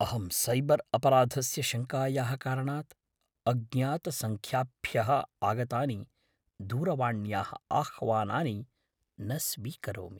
अहं सैबर् अपराधस्य शङ्कायाः कारणात् अज्ञातसङ्ख्याभ्यः आगतानि दूरवाण्याः आह्वानानि न स्वीकरोमि।